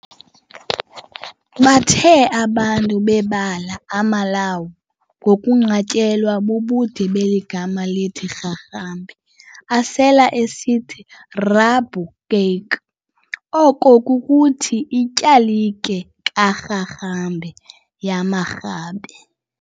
Bathe abantu bebala, amaLawu, ngokunqatyelwa bubude beli gama lithi Rharhabe, asele esithi, "Rabe kerk," oko kukuthi ityalike ka"Rharhabe," yamaRhabe.